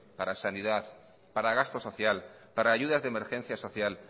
para sanidad para gasto social para ayudas de emergencia social